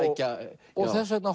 og þess vegna